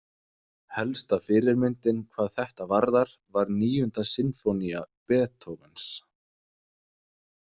Helsta fyrirmyndin hvað þetta varðar var Níunda sinfónía Beethovens.